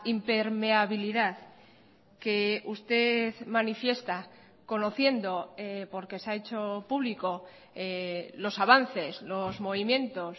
impermeabilidad que usted manifiesta conociendo porque se ha hecho público los avances los movimientos